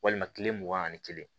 Walima kile mugan ani kelen